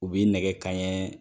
U bɛ nɛgɛ kanɲɛ